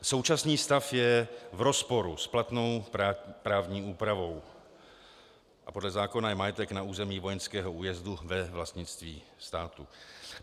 Současný stav je v rozporu s platnou právní úpravou a podle zákona je majetek na území vojenského újezdu ve vlastnictví státu.